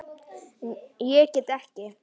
En ég get ekki.